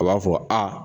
A b'a fɔ a